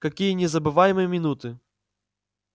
какие незабываемые минуты